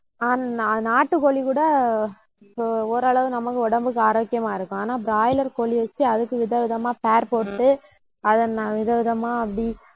ஆஹ் நா~ நாட்டுக்கோழி கூட அஹ் ஓரளவு நமக்கு உடம்புக்கு ஆரோக்கியமா இருக்கும். ஆனா broiler கோழியை வச்சு அதுக்கு விதவிதமா போட்டு அதை ந~ வித விதமா அப்படி